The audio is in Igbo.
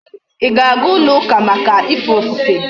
Íga aga ulo uka Maka ife ofufe?